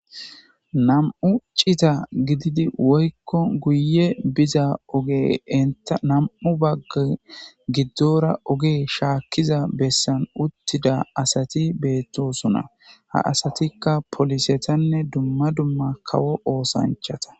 nam7u cita gididi woykko guye biza oge inta nam7u bagga giddora oge shaakkiza bessan uttida asati beettosona ha asatikka polisetanne dumma dumma kawo oosanchata